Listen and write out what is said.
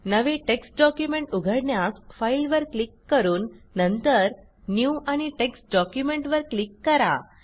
नवे text document उघडण्यास Fileवर क्लिक करून नंतर न्यू आणि टेक्स्ट डॉक्युमेंट वर क्लिक करा